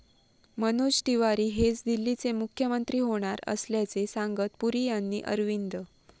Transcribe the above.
मनोज तिवारी हेच दिल्लीचे मुख्यमंत्री होणार असल्याचे सांगत पुरी यांनी अरविंद.